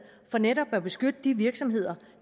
for netop at beskytte de virksomheder